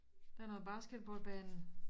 Der er noget basketballbane